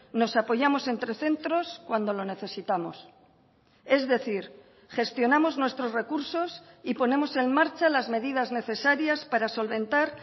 nos apoyamos entre centros cuando lo necesitamos es decir gestionamos nuestros recursos y ponemos en marcha las medidas necesarias para solventar